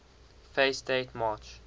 fact date march